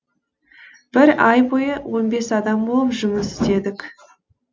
бір ай бойы он бес адам болып жұмыс істедік